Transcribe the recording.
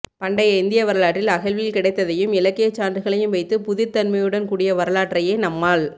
பண்டைய இந்திய வரலாற்றில் அகழ்வில் கிடைத்ததையும் இலக்கியச் சான்றுகளையும் வைத்துப் புதிர்த்தன்மையுடன் கூடிய வரலாற்றையே நம்மால்